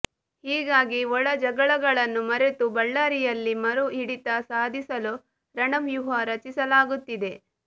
ಹೀಗಾಗಿ ಒಳ ಜಗಳಗಳನ್ನು ಮರೆತು ಬಳ್ಳಾರಿಯಲ್ಲಿ ಮರು ಹಿಡಿತ ಸಾಧಿಸಲು ರಣವ್ಯೂಹ ರಚಿಸಲಾಗುತ್ತಿದೆ